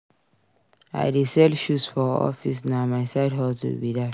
I dey sell shoes for office na my side hustle be dat.